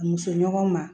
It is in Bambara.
Muso ɲɔgɔn ma